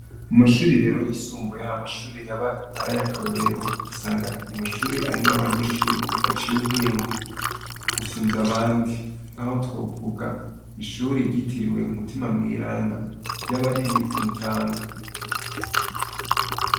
Mu mashuri rero yisumbuye hari amashuri aba ari ay'akarorero. Ugasanga ni amashure arimwo abanyeshuri baciye ubwenge gusumvya abandi. Nk'aho twovuga ishuri ryitiriwe umutima mweranda ryaba riri ku Mutanga.